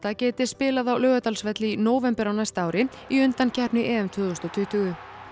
geti spilað á Laugardalsvelli í nóvember á næsta ári í undankeppni EM tvö þúsund og tuttugu